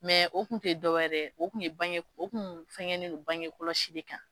o kun tɛ dɔwɛrɛ ye dɛ, o kun ye bange o kun fɛngɛnnen bangɛ kɔlɔsi de kan.